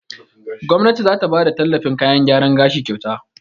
Gomnati za ta bada tallafin kayan gyaran gashi kyauta.